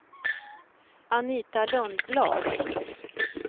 Anita Lundblad